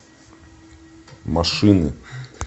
машины